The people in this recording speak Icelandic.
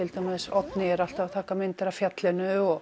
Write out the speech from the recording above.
Oddný er alltaf að taka mynd af fjallinu og